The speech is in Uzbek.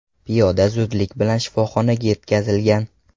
Piyoda zudlik bilan shifoxonaga yetkazilgan.